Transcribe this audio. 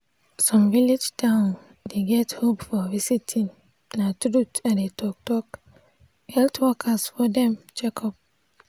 some village town dey get hope for visiting na truth i dey talk talk health workers for dem checkup.